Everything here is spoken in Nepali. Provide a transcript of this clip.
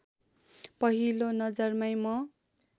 पहिलो नजरमै म